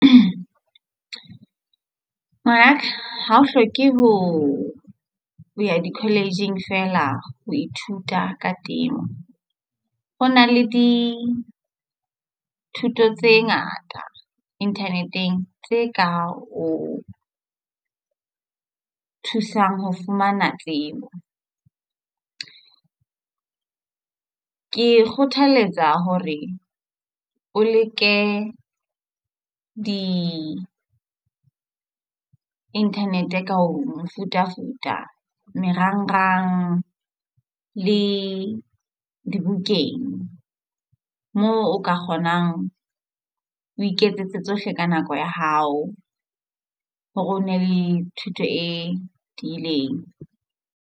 Ngwanaka ha o hloke ho ya di-college-ing fela. Ho ithuta ka temo ho na le dithuto tse ngata internet-eng tse ka o thusang ho fumana tsebo. Ke kgothaletsa hore o leke di-internet ka mefutafuta marangrang le dibukeng moo o ka kgonang o iketsetse tsohle ka nako ya hao hore o be le thuto e tiileng.